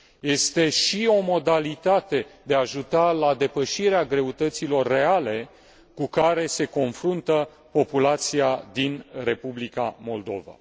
Este și o modalitate de a ajuta la depășirea greutăților reale cu care se confruntă populația din Republica Moldova.